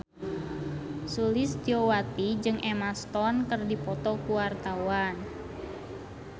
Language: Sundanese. Sulistyowati jeung Emma Stone keur dipoto ku wartawan